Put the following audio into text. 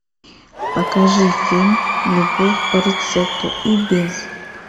покажи фильм любовь по рецепту и без